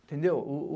Entendeu?